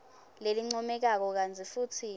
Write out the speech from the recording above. lelincomekako kantsi futsi